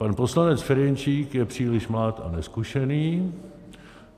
Pan poslanec Ferjenčík je příliš mlád a nezkušený.